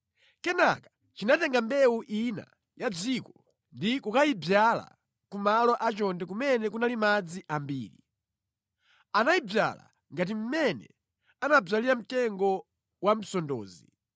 “ ‘Kenaka chinatenga mbewu ina ya mʼdziko ndi kukayidzala ku malo a chonde kumene kunali madzi ambiri. Anayidzala ngati mmene amadzalira mtengo wa msondozi.